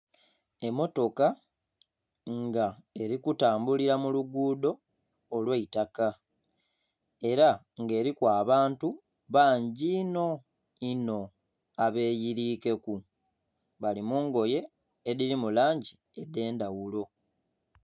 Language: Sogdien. Emmotoka nga eri kutambulira mulugudo olwaitaka era nga eriku abantu bangi inho inho abeyirikeku abali mungoye edhiri mulangi edhendhaghulo.